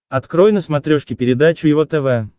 открой на смотрешке передачу его тв